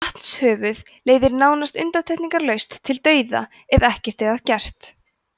vatnshöfuð leiðir nánast undantekningarlaust til dauða ef ekkert er að gert